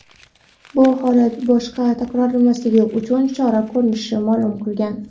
bu holat boshqa takrorlanmasligi uchun chora ko‘rishini ma’lum qilgan.